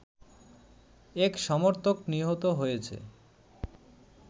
এক সমর্থক নিহত হয়েছে